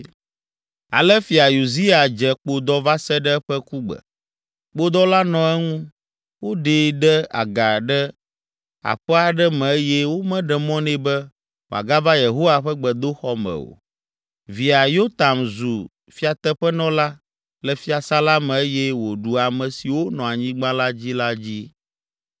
Ale Fia Uzia dze kpodɔ va se ɖe eƒe kugbe. Kpodɔ la nɔ eŋu, woɖee ɖe aga ɖe aƒe aɖe me eye womeɖe mɔ nɛ be wòagava Yehowa ƒe gbedoxɔ me o. Via, Yotam zu fiateƒenɔla le fiasã la me eye wòɖu ame siwo nɔ anyigba la dzi la dzi.